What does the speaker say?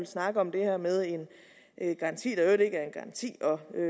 snakker om det her med en garanti der i øvrigt ikke er en garanti